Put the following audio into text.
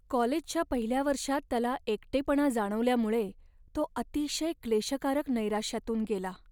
कॉलेजच्या पहिल्या वर्षात त्याला एकटेपणा जाणवल्यामुळे तो अतिशय क्लेशकारक नैराश्यातून गेला.